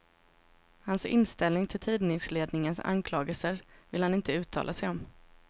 Hans inställning till tidningsledningens anklagelser vill han inte uttala sig om.